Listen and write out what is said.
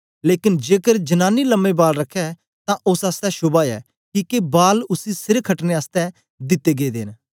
लेकन जेकर जनांनी लम्मे बाल रखै तां ओस आसतै शोभा ऐ किके बाल उसी सिर खटने आसतै दिते गेदे न